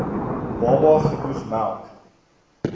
baba genoeg melk